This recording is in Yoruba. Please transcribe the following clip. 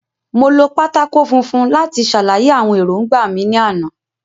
Mo lo pátákó funfun láti ṣàlàyé àwọn èròńgbà mi ní àná